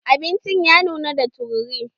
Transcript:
Abincin ya nuna da tururi.